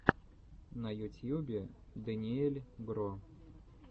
на ютьюбе дэниель гро